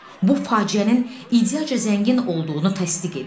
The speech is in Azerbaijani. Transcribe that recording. Bu faciənin ideyaca zəngin olduğunu təsdiq edir.